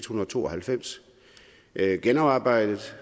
hundrede og to og halvfems det er gennemarbejdet